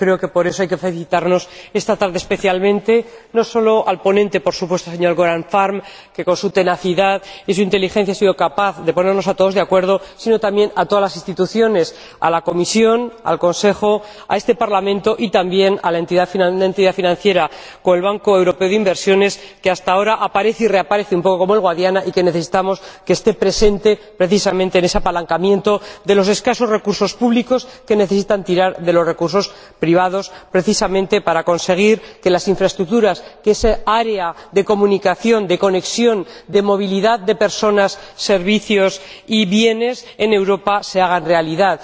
Por eso creo que hay que felicitar, esta tarde especialmente, no solo al ponente, por supuesto, señor Göran Färm, que con su tenacidad y su inteligencia ha sido capaz de ponernos a todos de acuerdo, sino también a todas las instituciones, a la Comisión, al Consejo, a este Parlamento y también a una entidad financiera como el Banco Europeo de Inversiones, que hasta ahora aparece y reaparece un poco como el Guadiana y que necesitamos que esté presente. La presencia de esta entidad es precisamente necesaria en ese apalancamiento de los escasos recursos públicos que necesitan tirar de los recursos privados, precisamente para conseguir que las infraestructuras, que esa área de comunicación, de conexión, de movilidad de personas, servicios y bienes en Europa se hagan realidad.